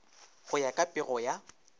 go ya ka pego ya